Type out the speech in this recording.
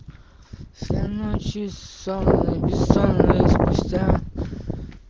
вся ночь и сонная бессонная спустя